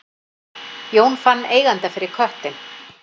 Jón fann eiganda fyrir köttinn